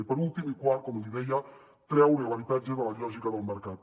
i per últim i quart com li deia treure l’habitatge de la lògica del mercat